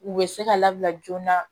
U bɛ se ka labila joona